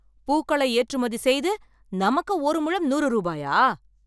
பூக்களை ஏற்றுமதி செய்து, நமக்கு ஒரு முழம் நூறு ரூபாயா?